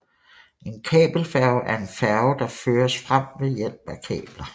En kabelfærge er en færge der føres frem ved hjælp af kabler